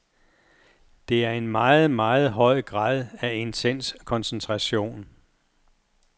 Det er en meget, meget høj grad af intens koncentration.